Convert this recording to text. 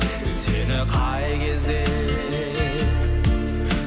сені қай кезде